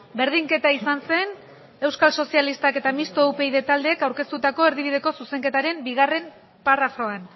berdinketa izan zen euskal sozialistak eta mistoa upyd taldeek aurkeztutako erdibideko zuzenketaren bigarrena parrafoan